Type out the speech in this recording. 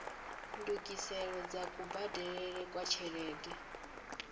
ndungiselo dza kubadelele kwa tshelede